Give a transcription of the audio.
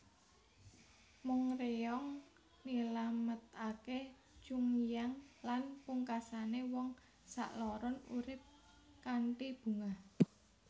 Mong ryeong nylametake Chunhyang lan pungkasane wong sakloron urip kanthi bungah